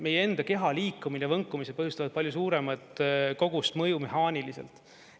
Meie enda keha liikumine, võnkumised põhjustavad palju suuremat kogust mõju mehaaniliselt.